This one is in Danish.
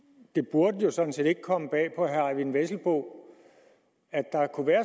det burde jo sådan set ikke komme bag på herre eyvind vesselbo at der kunne være